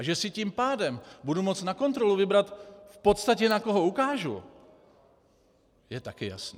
A že si tím pádem budu moci na kontrolu vybrat v podstatě, na koho ukážu, je také jasné.